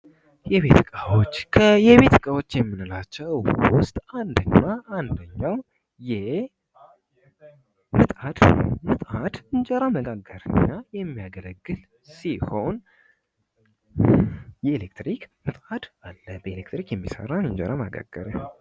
ከቤት እቃዎች መካከል አንዱ የሆነው የኤሌክትሪክ ምጣድ እንጀራ መጋገሪያ ሲሆን በኤሌክትሪክ የሚሰራ ነው።